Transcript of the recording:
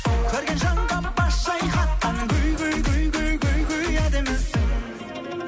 көрген жанға бас шайқатқан әдемісің